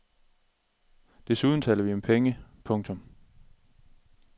Desuden taler vi om penge. punktum